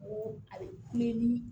N ko a bɛ kule ni